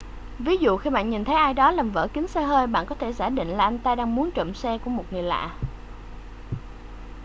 ví dụ khi bạn nhìn thấy ai đó làm vỡ kính xe hơi bạn có thể giả định là anh ta đang muốn trộm xe của một người lạ